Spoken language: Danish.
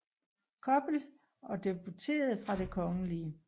Koppel og debuterede fra Det Kgl